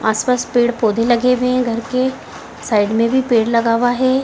आसपास पेड़-पौधे लगे हुए हैं घर के साइड में भी पेड़ लगा हुआ है।